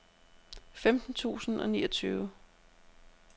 femten tusind og niogtyve